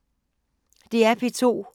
DR P2